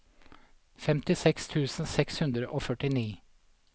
femtiseks tusen seks hundre og førtini